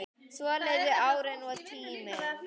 Svo liðu árin og tíminn.